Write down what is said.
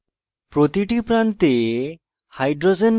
প্রতিটি প্রান্তে hydrogen পরমাণু যোগ করতে